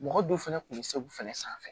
Mɔgɔ dɔw fɛnɛ kun be segu fɛnɛ sanfɛ